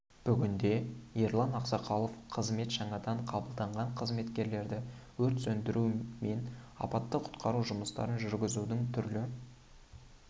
бүгінде ерлан ақсақалов қызметке жаңадан қабылданған қызметкерлерді өрт сөндіру мен апаттық құтқару жұмыстарын жүргізудің түрлі